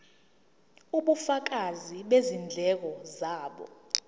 ubufakazi bezindleko zabo